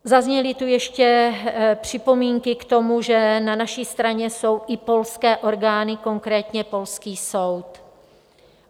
Zazněly tu ještě připomínky k tomu, že na naší straně jsou i polské orgány, konkrétně polský soud.